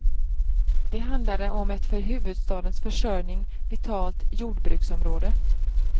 Det handlade om ett för huvudstadens försörjning vitalt jordbruksområde.